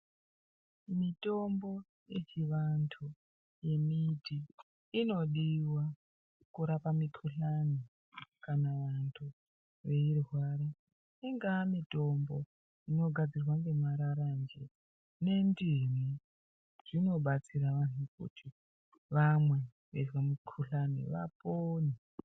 Mitombo yechivanhu yembiti inodiwa kurapa mukhuhlani kana vantu eirwara ingaa mitombo inogadzirwa ngeraranje nendimu zvinobatsira vantu kuti vamwe veizwe mukhuhlani vapone.